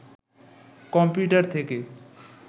computer থেকে